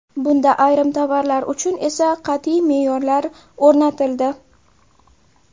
Bunda ayrim tovarlar uchun esa qat’iy me’yorlar o‘rnatildi.